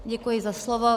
Děkuji za slovo.